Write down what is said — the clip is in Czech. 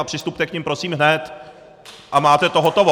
A přistupte k nim prosím hned a máte to hotovo!